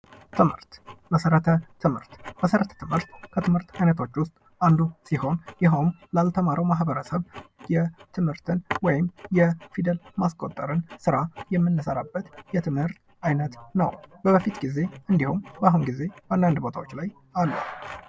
ትምህርት፦ መሰረተ ትምህርት፦ መሰረተ ትምህርት ከትምህርት አይነቶች ውስጥ አንዱ ሲሆን ይህም ላልተማረው ማህበረሰብ የትምህርትን ወይም የፊደል ማስቆጠረን ስራ የምንሰራበት የትምህርት አይነት ነው። በበፊት ጊዜ እንድሁም በአሁን ጊዜ አንዳንድ ቦታዎች ላይ አለ።